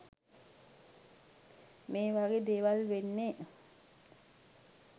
මේවගේ දේවල් වෙන්නෙ